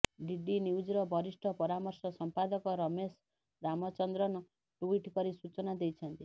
DD ନ୍ୟୁଜର ବରିଷ୍ଠ ପରାମର୍ଶ ସମ୍ପାଦକ ରମେଶ ରାମଚନ୍ଦ୍ରନ ଟୁଇଟ୍ କରି ସୂଚନା ଦେଇଛନ୍ତି